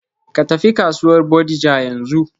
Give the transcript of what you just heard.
Ka tafi kasuwar Bodija yanzu.